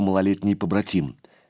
малолетний побратим